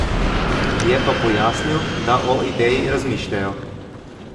Je pa pojasnil, da o ideji razmišljajo.